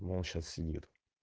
вон сейчас сидит